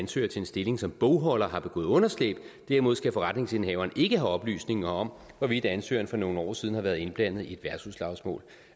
til en stilling som bogholder har begået underslæb derimod skal forretningsindehaveren ikke have oplysninger om hvorvidt ansøgeren for nogle år siden har været indblandet i et værtshusslagsmål